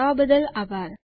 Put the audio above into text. જોડાવા બદ્દલ આભાર